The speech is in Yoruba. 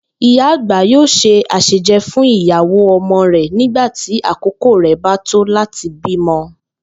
Ìyá àgbà yóò se àsèje̩ fún ìyàwó o̩mo̩ rè̩ nígbà tí àkókò rè̩ bá tó láti bímo̩